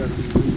Mən bilmirəm.